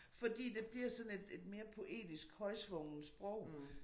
Fordi det bliver sådan et et mere poetisk højtsvunget sprog